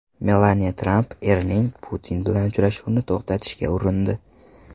Melaniya Tramp erining Putin bilan uchrashuvnini to‘xtatishga urindi.